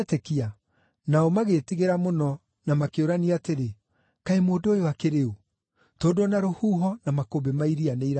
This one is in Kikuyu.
Nao magĩĩtigĩra mũno na makĩũrania atĩrĩ, “Kaĩ mũndũ ũyũ akĩrĩ ũũ? Tondũ o na rũhuho na makũmbĩ ma iria nĩiramwathĩkĩra!”